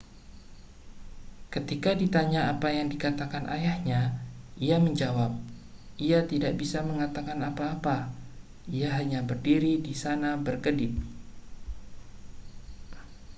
ketika ditanya apa yang dikatakan ayahnya ia menjawab ia tidak bisa mengatakan apa-apa ia hanya berdiri di sana berkedip